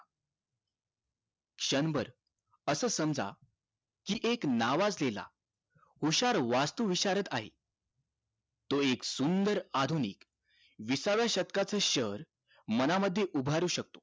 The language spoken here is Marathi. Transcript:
क्षण भर असं समजा हि एक नावाजलेला हुशार वास्तू विचारात आहे तो एक सुंदर आधुनिक विसाव्या शतकाचं शहर मनामध्ये उभारू शकतो